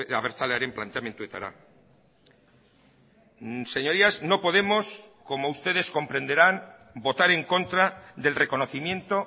abertzalearen planteamenduetara señorías no podemos como ustedes comprenderán votar en contra del reconocimiento